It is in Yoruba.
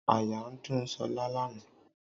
Àyà ń dún ṣọlá lánàá